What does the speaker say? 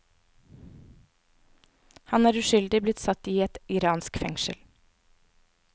Han er uskyldig blitt satt i et iraksk fengsel.